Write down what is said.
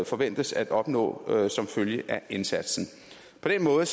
forventes at opnå som følge af indsatsen på den måde